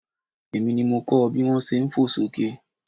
Èmi ni mo kọ bí wón ṣe fò sókè.